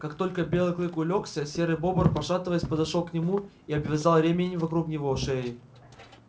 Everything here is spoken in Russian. как только белый клык улёгся серый бобр пошатываясь подошёл к нему и обвязал ремень вокруг него шеи